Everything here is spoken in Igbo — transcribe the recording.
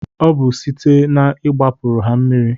Obu sitee n'igbapuru ha mmiri